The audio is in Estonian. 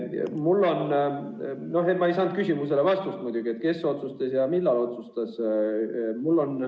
Ma ei saanud muidugi vastust oma küsimusele, et kes otsustas ja millal otsustas.